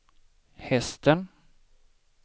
hästen